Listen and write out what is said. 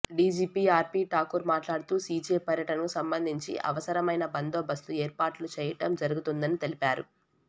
DGP RP Thakur మాట్లాడుతూ CJ పర్యటనకు సంబంధించి అవసరమైన బందోబస్తు ఏర్పాట్లు చేయటం జరుగుతుందని తెలిపారు